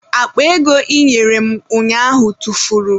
Akpa ego ị nyere m ụnyaahụ tụfuru.